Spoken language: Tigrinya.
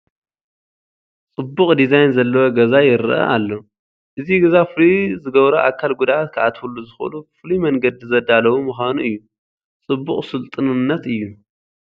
ፅቡቕ ዲዛይን ዘለዎ ገዛ ይርአ ኣሎ፡፡ እዚ ገዛ ፍሉይ ዝገብሮ ኣካል ጉድኣት ክኣትዉሉ ዝኽእሉ ፍሉይ መንገዲ ዘዳለዉ ምዃኑ እዩ፡፡ ፅቡቕ ስልጡንነት እዩ፡፡